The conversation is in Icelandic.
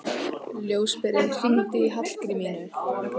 Ljósberi, hringdu í Hallgrímínu.